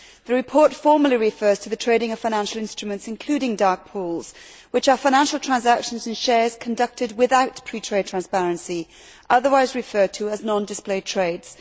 The report formally refers to the trading of financial instruments, including dark pools, which are financial transactions and shares conducted without pre trade transparency, otherwise referred to as non displayed trades.